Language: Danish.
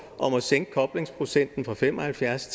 om at sænke koblingsprocenten fra fem og halvfjerds